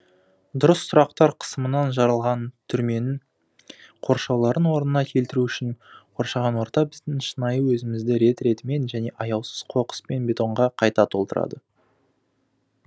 дұрыс сұрақтар қысымынан жарылған түрменің қоршауларын орнына келтіру үшін қоршаған орта біздің шынайы өзімізді рет ретімен және аяусыз қоқыс пен бетонға қайта толтырады